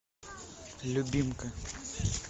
любимка